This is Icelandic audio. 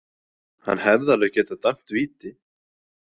Hann hefði alveg getað dæmt víti.